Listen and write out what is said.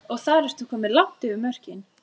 En þarftu ekki líka þakpappa og vírnet?